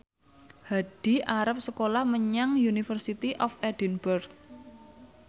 Hadi arep sekolah menyang University of Edinburgh